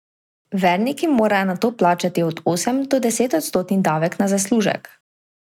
Verniki morajo nato plačati od osem do desetodstotni davek na zaslužek.